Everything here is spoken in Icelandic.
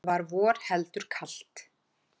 Var vor heldur kalt.